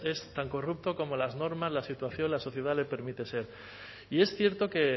es tan corrupto como las normas la situación la sociedad le permite ser y es cierto que